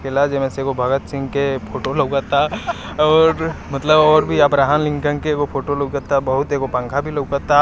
एगो भगत सिंह के फोटो लगाता और मतलब मतलब और भी अभ्रहम लिंगदन एगो फोटो लगाता एगो पंखा भी लगाता।